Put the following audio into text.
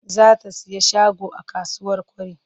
Za ta sayi shago a kasuwar Kwari.